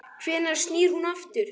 Hvenær snýr hún aftur?